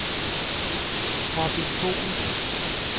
Robin Boel